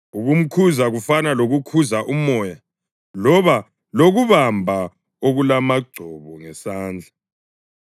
ukumkhuza kufana lokukhuza umoya loba lokubamba okulamagcobo ngesandla.